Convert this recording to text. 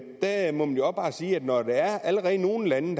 der må man jo også bare sige at når der er nogle lande